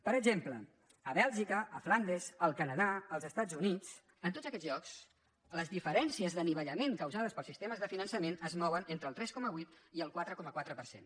per exemple a bèlgica a flandes al canadà als estats units en tots aquests llocs les diferències d’anivellament causades pels sistemes de finançament es mouen entre el tres coma vuit i el quatre coma quatre per cent